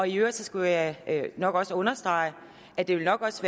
i øvrigt skulle jeg nok også understrege at det nok også